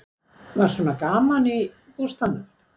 Var svona gaman í bústaðnum?